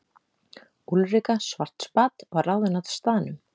Úlrika Schwartzbad var ráðin á staðnum.